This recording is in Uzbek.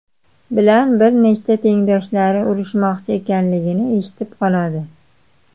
bilan bir nechta tengdoshlari urishmoqchi ekanligini eshitib qoladi.